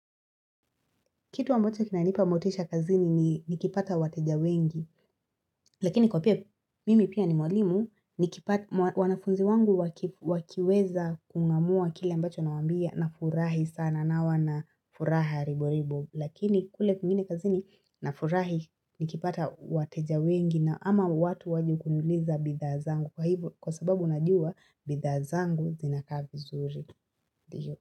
Kitu ambocha kinanipa motisha kazini ni nikipata wateja wengi, lakini kwa pia mimi pia ni mwalimu, nikipata wanafunzi wangu wakiweza kung'amua kile ambacho nawambia na furahi sana nawana furaha ribo ribo, lakini kule kwingine kazini na furahi nikipata wateja wengi na ama watu wajekuniuliza bidha zangu kwa hivyo kwa sababu najua bidha zangu zinakaa vizuri.